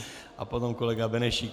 A potom kolega Benešík.